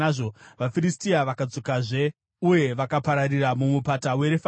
VaFiristia vakadzokazve uye vakapararira muMupata weRefaimi;